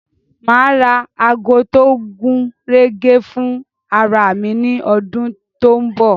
Ma ra ago tó gúnrégé fún ara mi ní ọdún tó ń bọ̀